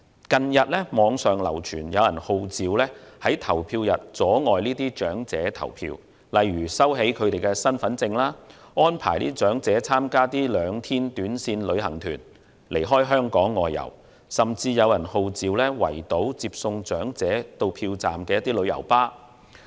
近日網上流傳，有人號召在投票日當天阻礙長者投票，例如收起他們的身份證、安排長者參加兩天短線旅行團離港外遊，甚至有人號召圍堵接送長者到票站的旅遊巴士。